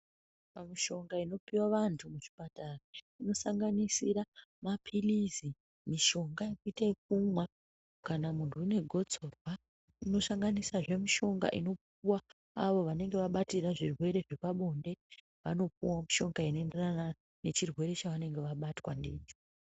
Pamushonga inopuwa vantu kuchipatara inosanganisira mapilizi mishonga yekuita kumwa kana muntu anegotsorwa unosanganisazve mishonga inopuwa avo vanenge vabatira zvirwere zvepabonde vanopuwawo mishonga inoenderana ngechirwere chavanemge vabatwa ndicho.